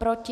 Proti?